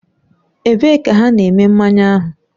Ebee ka ha na-eme mmanya ahụ?